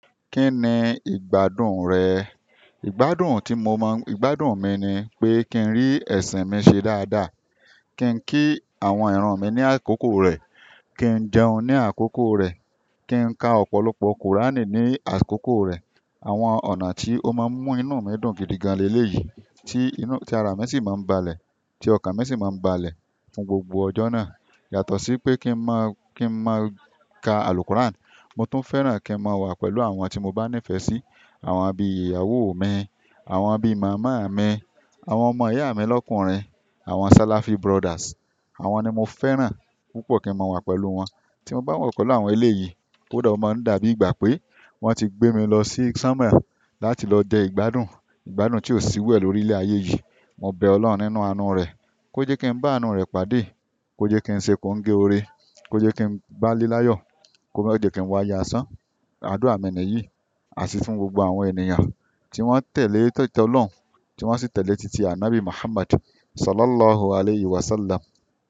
Kí ni ìgbádùn rẹ? Ìgbádùn tí mo mọ̀, ìgbádùn mi ni pé kí n rí ẹ̀sìn mi ṣe dáadáa. Kí n kí àwọn ìran mi ní àkókò rẹ̀. Kí n jẹun ní àkókò rẹ̀. Kí n ka ọ̀pọ̀lọpọ̀ Quran ní àkókò rẹ̀. Àwọn ọ̀nà tí ó máa ń mú inú mi dùn gidi gan-an léléyìí tí inú, tí ara mi sì máa ń balẹ̀, tí ọkàn mi sì máa ń balẹ̀ fún gbogbo ọjọ́ náà. Yàtọ̀ sí pé kí n máa, kí n máa ka àlù Quran. Mo tún fẹ́ràn kí n máa wà pẹ̀lú àwọn tí mo bá nífẹ̀ẹ́ sí. Àwọn bí ìyàwó mi, àwọn bí màmá mi, àwọn ọmọ ìyá mi lọ́kùnrin, àwọn Salafi brothers. Àwọn ni mo fẹ́ràn púpọ̀ kí n máa wà pẹ̀lú wọn. Tí mo bá wọ̀kọ̀ lọ àwọn eléyìí, ó dà, ó máa ń dàbí ìgbà pé wọ́n ti gbé mi lọ sí Sánmàn láti lọ dẹ ìgbádùn, ìgbádùn tí ò sí irúẹ̀ lórílẹ̀ ayé yìí. Mo bẹ Ọlọ́run nínú àánú rẹ̀, kó jẹ́ kí n bá àánú rẹ̀ pàdé, kó jẹ́ kí n ṣe kòǹgẹ́ oore, kó jẹ́ kí n bálé láyọ̀, kó mọ́ jẹ̀ẹ́ kí n wáyé aṣán. Àdúrà mi ní yìí, àti fún gbogbo àwọn ènìyàn tí wọ́n tẹ̀lé títi Ọlọ́run, tí wọ́n sì tẹ̀lé títí àwọn ÀNábì Muhammad Sallallahu Alaihi Wasallam.